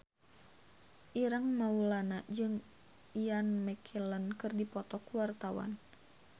Ireng Maulana jeung Ian McKellen keur dipoto ku wartawan